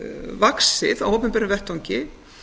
vaxið á opinberum vettvangi